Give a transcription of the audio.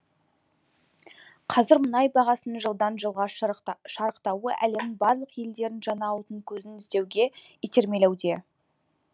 қазір мұнай бағасының жылдан жылға шарықтауы әлемнің барлық елдерін жаңа отын көзін іздеуге итермелеуде